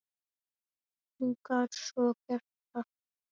En hún gat sko sagt.